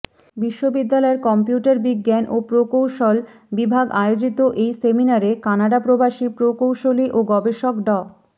বিশ্ববিদ্যালয়ের কম্পিউটার বিজ্ঞান ও প্রকৌশল বিভাগ আয়োজিত এই সেমিনারে কানাডাপ্রবাসী প্রকৌশলী ও গবেষক ড